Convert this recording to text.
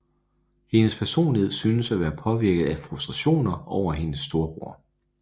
Hendes personlighed synes at være påvirket af frustrationer over hendes storebror